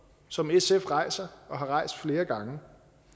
som sf rejser og har rejst flere gange